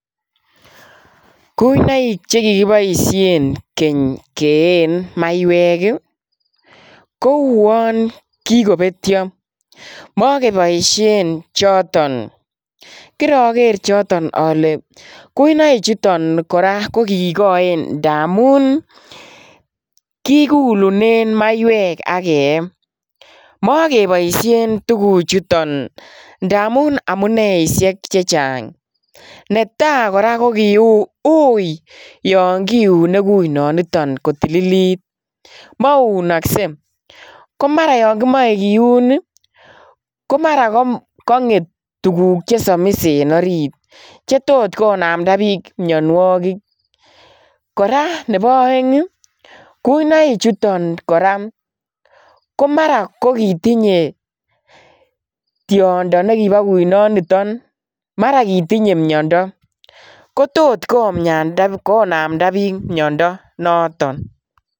Kuionoik chekikiboishen keny keyeen maiwek ii kouon kikobetio mokeboishen choton kiroker choton ole kuinoichuton koraa kokikoen ndamun kikulunen maiwek ak kee, mokeboishen tufuchuton ndamun amuneishek chechang, netaa koraa koui yon kiune kuinoniton kotililit mounokse komara yon kimoe kiun ii komara konget tuguk chesomis en orit chetot konamda bik mionuokik, koraa nebo oeng ii kuinoichuton koraa komara kokitinye tiondo nekibo kuinoniton mara kitinye miondo kotot konamda bik miondo noton.